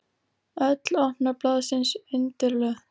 Öll opna blaðsins undirlögð!